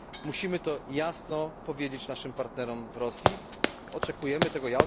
Musimy jasno powiedzieć naszym partnerom w Rosji, że oczekujemy tego.